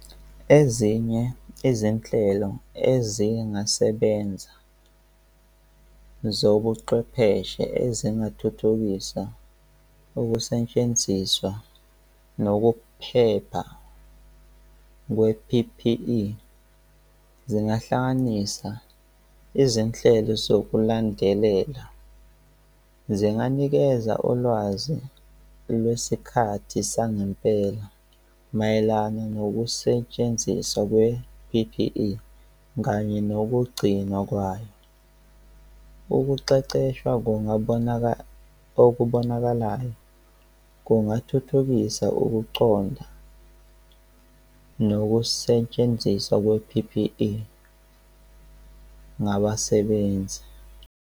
Ezinye izinhlelo ezingasebenzi zobuchwepheshe ezingathuthukisa ukusentshenziswa nokuphepha kwe-P_P_E, zingahlanganisa izinhlelo zokulandelela, zinganikeza ulwazi lwesikhathi sangempela mayelana nokusetshenziswa kwe-P_P_E kanye nokugcinwa kwayo. Ukuqeqeshwa kungabonakala okubonakalayo, kungathuthukisa ukuconda nokusetshenziswa kwe-P_P_E ngabasebenzi.